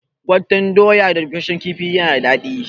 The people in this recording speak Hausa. Gwaten doya da bushashshen kifi yana da dadi